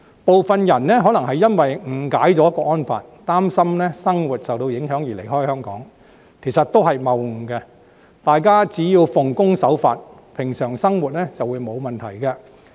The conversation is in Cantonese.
部分人可能因為誤解了《香港國安法》，擔心生活受到影響而離開香港，這其實都是謬誤，大家只要奉公守法，平常生活便沒有問題。